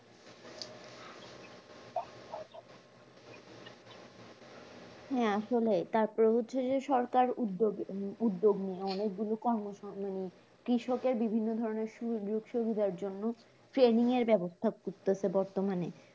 হ্যাঁ আসলেই তারপর হচ্ছে যে সরকার উদ্যোগ মানে উদ্যোগ নেয় অনেকগুলো কর্ম মানে কৃষকের বিভিন্ন ধরনের সুযোগ-সুবিধার জন্য training এর ব্যবস্থা করতেছে বর্তমানে